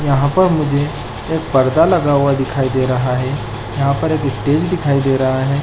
यहाँ पर मुझे एक पर्दा लगा हुआ दिखाई दे रहा है यहाँ पर एक स्टेज दिखाई दे रहा है।